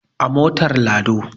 A motar lado